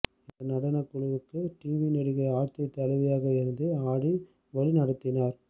இந்த நடனகுழுவுக்கு டிவி நடிகை ஆர்த்தி தலைவியாக இருந்து ஆடி வழிநடத்தினார்